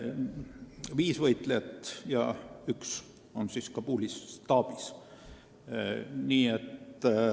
Seal on viis võitlejat ja üks on Kabulis staabis.